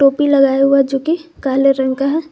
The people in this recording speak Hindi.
टोपी लगाए हुआ है जोकि काले रंग का है।